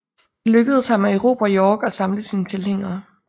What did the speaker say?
Det lykkedes ham at erobre York og samle sine tilhængere